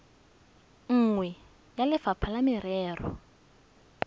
nngwe ya lefapha la merero